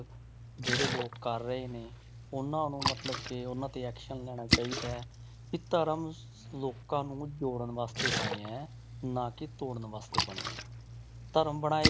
ਜਿਹੜੇ ਲੋਕ ਕਰ ਰਹੇ ਨੇ ਉਹਨਾਂ ਨੂੰ ਮਤਲਬ ਕਿ ਉਹਨਾਂ ਤੇ action ਲੈਣਾ ਚਾਹੀਦਾ ਹੈ, ਵੀ ਧਰਮ ਲੋਕਾਂ ਨੂੰ ਜੋੜਨ ਵਾਸਤੇ ਬਣਿਆ ਹੈ ਨਾ ਕੇ ਤੋੜਨ ਵਾਸਤੇ ਬਣਿਆ ਹੈ, ਧਰਮ ਬਣਾਏ